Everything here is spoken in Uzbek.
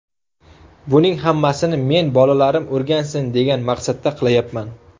Buning hammasini men bolalarim o‘rgansin, degan maqsadda qilayapman.